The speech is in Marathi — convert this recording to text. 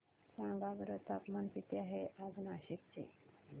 सांगा बरं तापमान किती आहे आज नाशिक चे